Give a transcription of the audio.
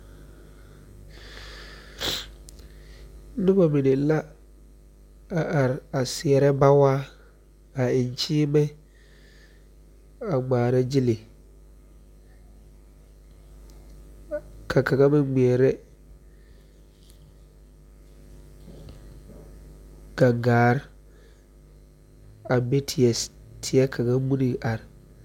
Noba mine la a are seɛrɛ bawaa a eŋ kyiimɛ a ŋmɛɛrɛ gyili ka kaŋa meŋ ŋmɛɛrɛ gaŋgaar a be tiɛ kaŋa muniŋ are.